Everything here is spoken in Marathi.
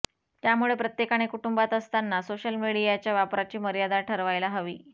त्यामुळे प्रत्येकाने कुटुंबात असताना सोशल मीडियाच्या वापराची मर्यादा ठरवायला हवी